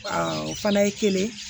o fana ye kelen ye